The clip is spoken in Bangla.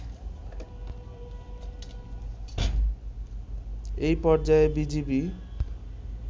একপর্যায়ে বিজিবি